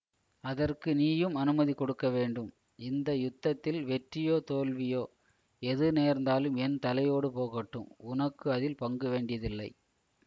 அதற்கு நீயும் அனுமதி கொடுக்க வேண்டும் இந்த யுத்தத்தில் வெற்றியோ தோல்வியோ எது நேர்ந்தாலும் என் தலையோடு போகட்டும் உனக்கு அதில் பங்கு வேண்டியதில்லை